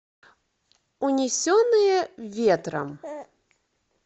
унесенные ветром